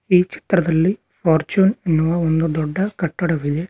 ಈ ಚಿತ್ರದಲ್ಲಿ ಫಾರ್ಚುನ್ ಎನ್ನುವ ಒಂದು ದೊಡ್ಡ ಕಟ್ಟಡವಿದೆ.